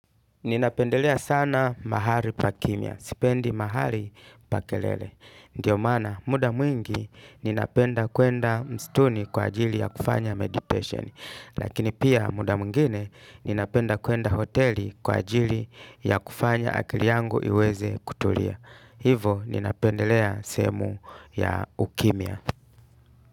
Ninapendelea sana mahari pa kimya. Sipendi mahali pa kelele. Ndiyo maana muda mwingi ninapenda kuenda mstuni kwa ajili ya kufanya meditation. Lakini pia muda mwingine ninapenda kuenda hoteli kwa ajili ya kufanya akili yangu iweze kutulia. Hivo ninapendelea sehemu ya ukimya.